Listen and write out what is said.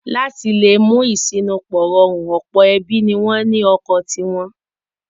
Láti le mú ìṣínípò rọrùn ọ̀pọ̀ ẹbí ni wọ́n ní ọkọ̀ ti wọn.